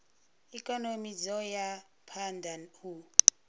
ikonomi dzo ya phanda u